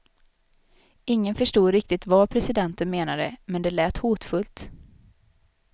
Ingen förstod riktigt vad presidenten menade, men det lät hotfullt.